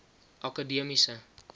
akademiese